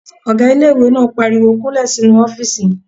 Ọgá ilé-ìwé náà pariwo "kúnlẹ̀ sínu ọ́fìsì mi!"